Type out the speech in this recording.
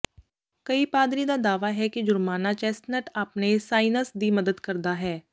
ਕਈ ਪਾਦਰੀ ਦਾ ਦਾਅਵਾ ਹੈ ਕਿ ਜੁਰਮਾਨਾ ਚੈਸਟਨਟ ਆਪਣੇ ਸਾਇਨਸ ਦੀ ਮਦਦ ਕਰਦਾ ਹੈ